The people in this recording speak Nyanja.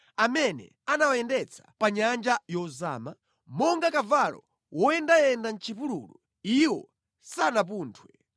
amene anawayendetsa pa nyanja yozama? Monga kavalo woyendayenda mʼchipululu, iwo sanapunthwe;